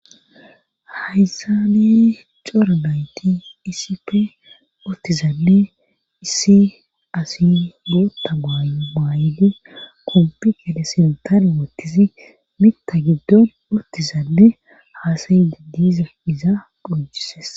hayssani coranayti iisipe ottizanne issi asi gootta baay7li kompikele sentane woottisi mitta giddon ottizanne haasayidi diiza iza phonjises